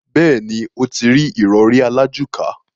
Bẹ́ẹ̀ni, ó ti rí ìrọrí alájùká.